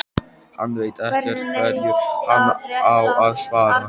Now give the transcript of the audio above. Hann veit ekkert hverju hann á að svara.